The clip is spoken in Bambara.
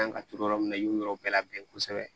An ka turu yɔrɔ min na i y'o yɔrɔ bɛɛ labɛn kosɛbɛ